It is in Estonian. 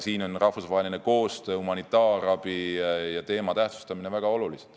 Siin on rahvusvahelise koostöö ja humanitaarabi teema tähtsustamine väga olulised.